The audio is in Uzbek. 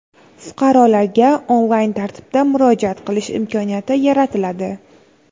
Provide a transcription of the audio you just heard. fuqarolarga onlayn tartibda murojaat qilish imkoniyati yaratiladi.